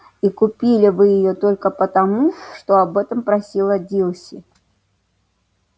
и купили вы её только потому что об этом просила дилси